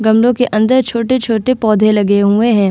गमलो के अंदर छोटे-छोटे पौधे लगे हुए हैं ।